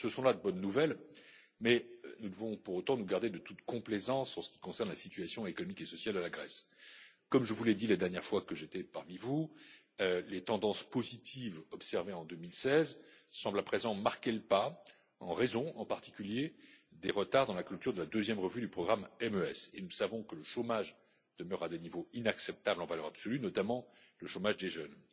Ce sont là de bonnes nouvelles, mais nous devons pour autant nous garder de toute complaisance en ce qui concerne la situation économique et sociale de la Grèce. Comme je vous l'ai dit la dernière fois que j'étais parmi vous, les tendances positives observées en 2016 semblent à présent marquer le pas, en raison en particulier des retards dans la culture de la deuxième revue du programme MES et nous savons que le chômage demeure à des niveaux inacceptables en valeur absolue, notamment le chômage des jeunes.